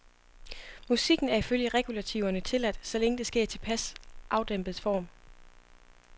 Musikken er ifølge regulativerne tilladt, så længe det sker i tilpas afdæmpet form.